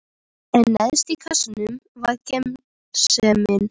En neðst í kassanum var gersemin.